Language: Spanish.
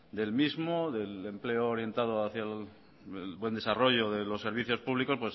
del mismo del empleo orientado hacía el buen desarrollo de los servicios públicos